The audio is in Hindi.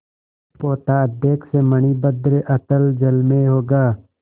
पोताध्यक्ष मणिभद्र अतल जल में होगा